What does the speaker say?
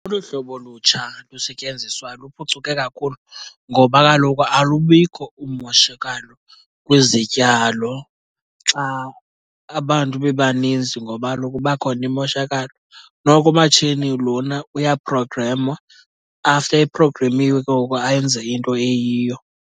Olu hlobo lutsha lusetyenziswayo luphucuke kakhulu ngoba kaloku alubikho umoshakalo kwizityalo xa abantu bebaninzi, ngoba kaloku kuba khona imoshakalo. Noko umatshini lona uyaprogremwa, after eprogremiwe ke ngoku ayenze into eyiyo.